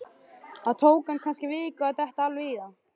Það tók hann kannski viku að detta alveg í það.